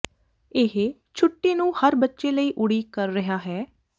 ਇਹ ਛੁੱਟੀ ਨੂੰ ਹਰ ਬੱਚੇ ਲਈ ਉਡੀਕ ਕਰ ਰਿਹਾ ਹੈ